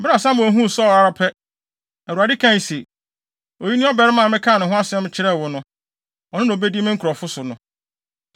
Bere a Samuel huu Saulo ara pɛ, Awurade kae se, “Oyi ne ɔbarima a mekaa ne ho asɛm kyerɛɛ wo no. Ɔno na obedi me nkurɔfo so no.”